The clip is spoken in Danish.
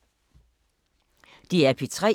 DR P3